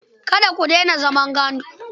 Kada ku daina zaman gandu.